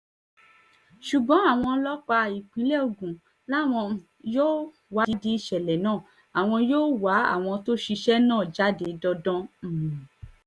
ṣùgbọ́n àwọn ọlọ́pàá ìpínlẹ̀ ogun làwọn um yóò wádìí ìṣẹ̀lẹ̀ náà àwọn yóò wá àwọn tó ṣiṣẹ́ náà jáde dandan um